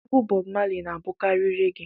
Egwu Bọb Mali na-abụkarị regee